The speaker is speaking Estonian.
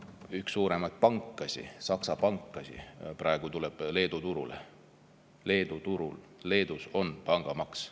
Üks suuremaid Saksa pankasid läheb praegu Leedu turule, kuigi Leedus on pangamaks.